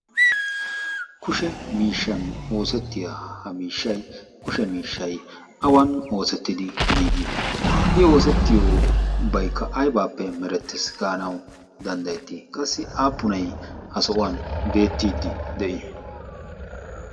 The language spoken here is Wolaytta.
Kushe miishshan oosettiya ha miishshayi kushe miishshayi awan oosettidi giigii? I oosettiyobaykka aybaappe merettes gaanawu danddayettii? Qassi aapunayi ha sohuwan beettiiddi de"ii?